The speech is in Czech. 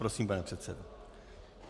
Prosím, pane předsedo.